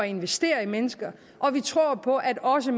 investere i mennesker vi tror på at også